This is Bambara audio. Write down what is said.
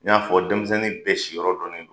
N y'a fɔ denmisɛnnin bɛ si yɔrɔ dɔn ne don